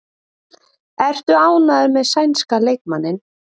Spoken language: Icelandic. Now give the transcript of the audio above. Ertu ánægður með sænska leikmanninn?